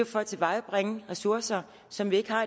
for at tilvejebringe ressourcer som vi ikke har